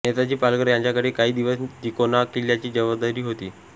नेताजी पालकर यांच्याकडे काही दिवस तिकोना किल्ल्याची जबाबदारी होती